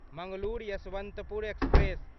Mangalore Yesvantpur express